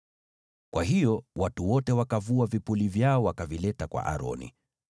Kwa hiyo watu wote wakavua vipuli vyao, wakavileta kwa Aroni.